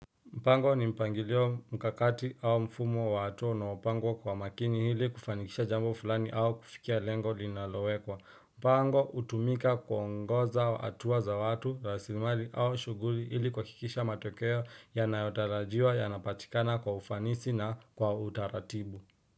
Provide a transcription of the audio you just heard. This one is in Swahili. Mpango ni mpangilio mkakati au mfumo wa hatua unaopangwa kwa makini hili kufanikisha jambo fulani au kufikia lengo linalowekwa. Mpango hutumika kuongoza hatua za watu, rasilimali au shughuri hili kuhakikisha matokeo ya nayotarajiwa ya napatikana kwa ufanisi na kwa utaratibu.